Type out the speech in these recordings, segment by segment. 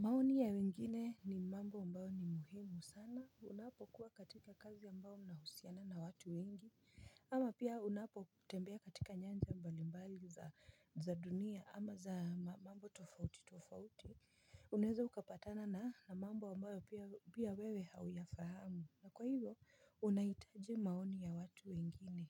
Maoni ya wengine ni mambo mbayo ni muhimu sana, unapo kuwa katika kazi ambayo na husiana na watu wengi, ama pia unapo tembea katika nyanja mbalimbali za dunia, ama za mambo tofauti tofauti, uneza ukapatana na mambo ambayo pia wewe hauyafahamu. Na kwa hivyo unahitaji maoni ya watu wengine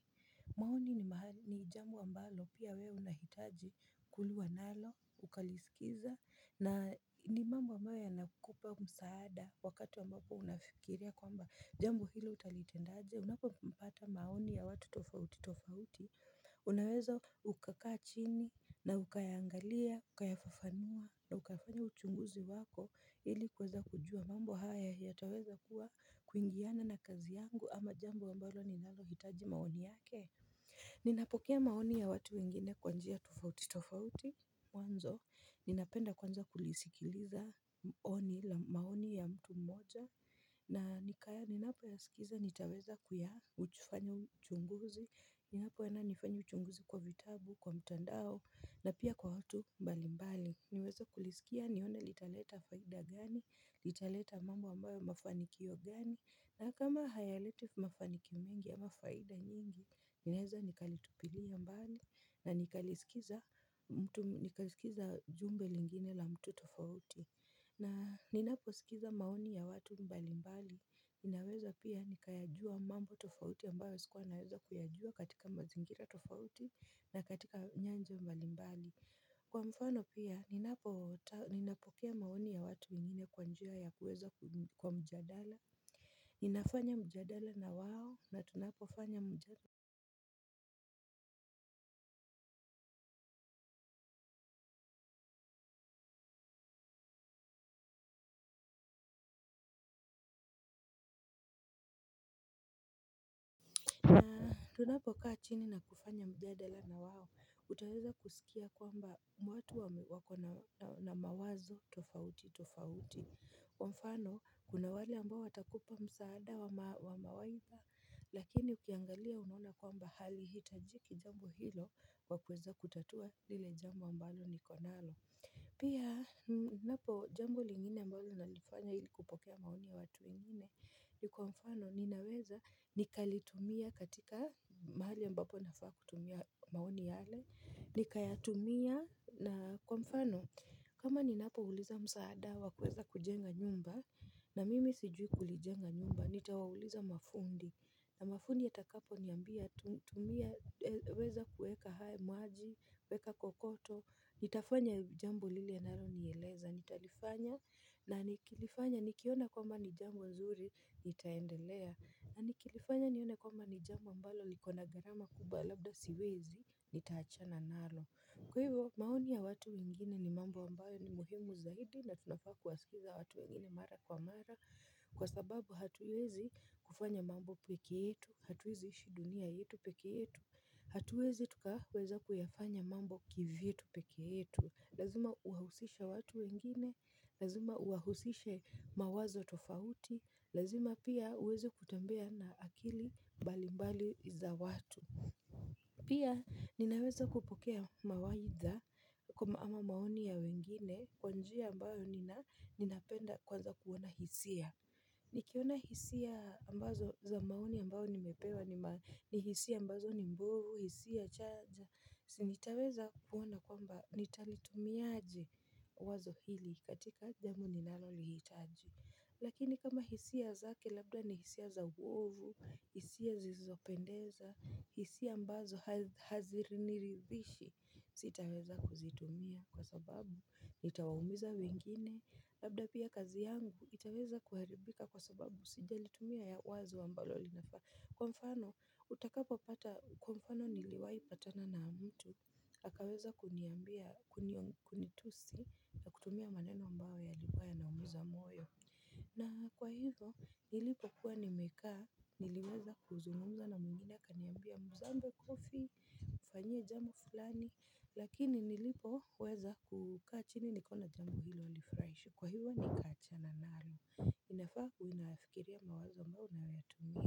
maoni ni mahali ni jambo ambalo pia we unahitaji kuluwa nalo ukalisikiza na ni mambo ambayo ya nakupa msaada wakati wa mbapo unafikiria kwamba jambo hilo utalitendaje unapopata maoni ya watu tofauti tofauti. Unaweza ukakaa chini na ukayangalia, ukayafafanua na ukafanya uchunguzi wako ili kuweza kujua mambo haya yataweza kuwa kuingiana na kazi yangu ama jambo a mbalo ninalo hitaji maoni yake. Ninapokea maoni ya watu wengine kwanjia tofauti tofauti wanzo. Ninapenda kwanza kulisikiliza maoni ya mtu mmoja. Na nikaya ninapo ya sikiza nitaweza kuyafanya uchunguzi. Ninapo enda nifanye uchunguzi kwa vitabu, kwa mtandao na pia kwa watu mbali mbali niweze kulisikia nione litaleta faida gani, litaleta mambo ambayo mafanikio gani. Na kama hayaleti mafanikio mengi ama faida nyingi ninaweza nikalitupilia mbali na nikaliskiza jumbe lingine la mtu tofauti. Na ninaposikiza maoni ya watu mbali mbali, ninaweza pia nikayajua mambo tofauti ambayo sikuwa naweza kuyajua katika mazingira tofauti na katika nyanja mbali mbali. Kwa mfano pia, ninapokea maoni ya watu wengine kwanjia ya kuweza kwa mjadala, ninafanya mjadala na wao na tunapofanya mjadala. Tunapo kaa chini na kufanya mjadala na wao, utaweza kusikia kwamba watu wako na mawazo tofauti tofauti. Kwa mfano, kuna wale ambao watakupa msaada wa mawaidha, lakini ukiangalia unaona kwamba hali hitajiki jambo hilo kwa kuweza kutatua lile jambo ambalo ni konalo. Pia napo jambo lingine ambalo nali nifanya ilikupokea maoni ya watu wengine. Ni kwa mfano ninaweza nikalitumia katika mahali ambapo nafaa kutumia maoni yale. Ni kaya tumia na kwa mfano kama ni napo uliza msaada wa kuweza kujenga nyumba na mimi sijui kulijenga nyumba. Nitawauliza mafundi. Na mafundi wa takapo niambia tumia weza kuweka hayo maji, kuweka kokoto, nitafanya jambo lili ya nalo nieleza, nitalifanya na nikilifanya nikiona kwamba nijambo zuri, nitaendelea, na nikilifanya nione kwamba nijambo mbalo likona gharama kubwa labda siwezi, nitaachana nalo. Kwa hivyo maoni ya watu wengine ni mambo ambayo ni muhimu zaidi na tunafaa kuwasikiliza watu wengine mara kwa mara. Kwa sababu hatuwezi kufanya mambo pekeyetu, hatuwezi ishi dunia yetu peke yetu, hatuwezi tukaweza kuyafanya mambo kivyetu peke yetu. Lazima uwahusishe watu wengine, lazima uwahusishe mawazo tofauti, lazima pia uweze kutembea na akili mbalimbali za watu. Pia ninaweza kupokea mawaidha kama ama maoni ya wengine kwanjia ambayo ninapenda kwanza kuona hisia. Nikiona hisia ambazo za maoni ambayo nimepewa ni hisia ambazo ni mbovu, hisia chaja. Sinitaweza kuona kwamba nitalitumiaje wazo hili katika jambo ninalo lihitaji. Lakini kama hisia zake labda ni hisia za uovu, hisia zizopendeza, hisia mbazo haziriniridhishi, sitaweza kuzitumia kwa sababu nitawamuza wengine, labda pia kazi yangu itaweza kuharibika kwa sababu sija litumia ya wazo ambalo linafaa. Kwa mfano utakapo pata kwa mfano niliwai patana na mtu akaweza kuniambia kunitusi na kutumia maneno ambayo yalikuwa yana umiza moyo. Na kwa hivyo nilipo kuwa nimekaa niliweza kuzungumza na mwingine kaniambia mzambo kofi. Fanyia jambo fulani lakini nilipo weza kukaa chini nika ona jambo hilo linafuraisha. Kwa hivyo nikacha na nalo inafaa uwe unaayafikiria mawazo ambayo unayatumia.